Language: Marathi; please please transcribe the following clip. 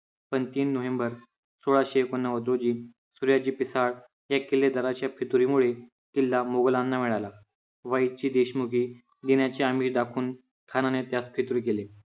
आणि पंच तीन नोव्हेंबर सोळाशे एकोण्णवद रोजी सूर्याजी पिसाळ या किल्लेदाराच्या फितुरी मुळे किल्ला मुघलांना मिळाला. वाईची देशमुखी अमीरी दाखवून खानाने त्यास फितूर केले.